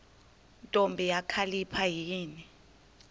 ntombi kakhalipha yini